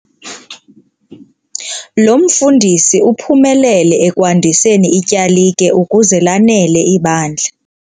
Lo mfundisi uphumelele ekwandiseni ityalike ukuze lanele ibandla.